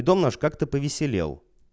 и дом наш как-то повеселел